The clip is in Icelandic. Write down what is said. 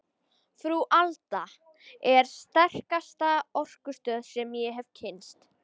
Frú Alda er sterkasta orkustöð sem ég hef kynnst.